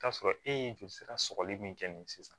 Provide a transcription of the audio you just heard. Taa sɔrɔ e ye joli sira sɔgɔli min kɛ ni sisan